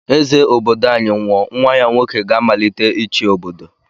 Eze obodo anyi nwụọ nwa ya nwoke gá-amalite ichi obodo.